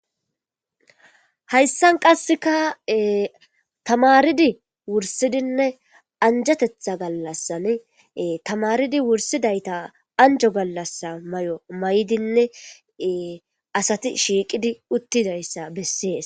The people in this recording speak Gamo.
Hayssan qasseka tamaaridi wurssidi anjjeteththa gallassan tamaridi wurisidayita anjo gallas anjo mayo mayidi dizayssa besees.